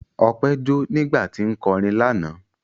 Ọpẹ́ jó nígbà tí ń kọrin lánàá.